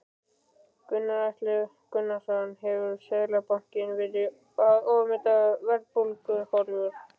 Gunnar Atli Gunnarsson: Hefur Seðlabankinn verið að ofmeta verðbólguhorfur?